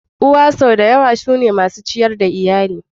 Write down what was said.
Uwa sau da yawa su ne masu ciyar da iyali.